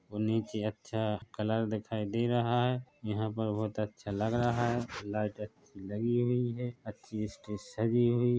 और नीचे अच्छा कलर दिखाई दे रहा है यहां पर बहुत अच्छा लग रहा है लाइट अच्छी लगी हुई है अच्छी स्टेज सजी हुई--